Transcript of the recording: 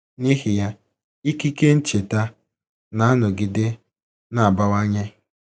N’ihi ya, ikike ncheta na - anọgide na - abawanye.